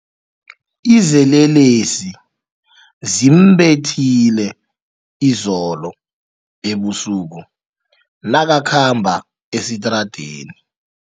Izelelesi zimbethile izolo ebusuku nakakhamba esitradeni.